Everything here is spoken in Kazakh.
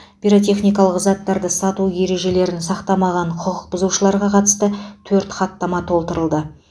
пиротехникалық заттарды сату ережелерін сақтамаған құқық бұзушыларға қатысты төрт хаттама толтырылды